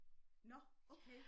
Nåh okay